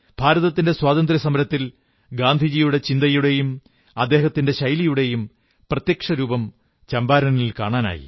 ഭാരതത്തിന്റെ സ്വാതന്ത്ര്യസമരത്തിൽ ഗാന്ധിജിയുടെ ചിന്തയുടേയും അദ്ദേഹത്തിന്റെ ശൈലിയുടെയും പ്രത്യക്ഷരൂപം ചമ്പാരനിൽ കാണാനായി